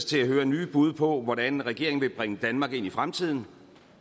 til at høre nye bud på hvordan regeringen vil bringe danmark ind i fremtiden